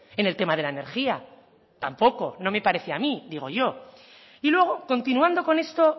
en el tema de la energía tampoco no me parece a mí digo yo y luego continuando con esto